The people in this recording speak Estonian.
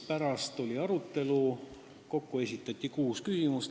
Pärast oli arutelu, kokku esitati kuus küsimust.